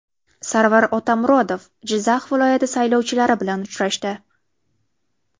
Sarvar Otamuratov Jizzax viloyati saylovchilari bilan uchrashdi.